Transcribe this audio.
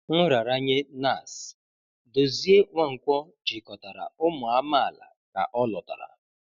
Nraranye NASS: Dozie Nwankwọ jikọtara ụmụ amaala ka ọ lọtara